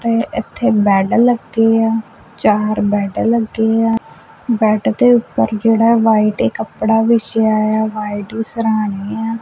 ਤੇ ਇੱਥੇ ਬੈਡ ਲੱਗੇ ਆ ਚਾਰ ਬੈਡ ਲੱਗੇ ਆ ਬੈਡ ਦੇ ਉਪਰ ਜਿਹੜਾ ਵਾਈਟ ਕੱਪੜਾ ਵਿਛਿਆ ਆ ਵਾਈਟ ਰੀ ਸਰਾਣੇ ਆ।